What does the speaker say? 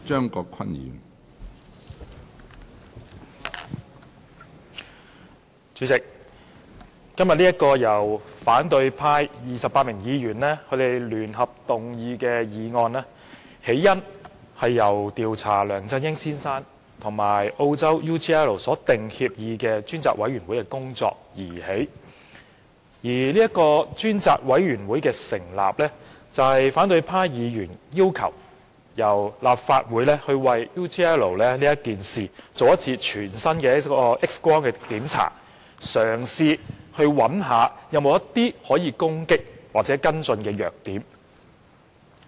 主席，今天這項由反對派28名議員聯合動議的議案，源於"調查梁振英先生與澳洲企業 UGL Limited 所訂協議的事宜專責委員會"的工作，而專責委員會的成立，是反對派議員要求立法會就 UGL 事件做一次全身 "X 光"檢查，試圖找出任何可以攻擊或跟進的弱點。